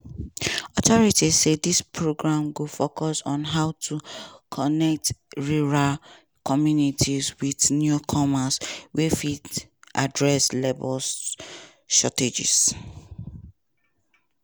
authorities say dis program go focus on how to connect rural communities wit newcomers wey fit address labor shortages.